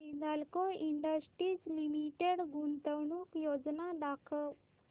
Hindalco industries limited गुंतवणूक योजना दाखव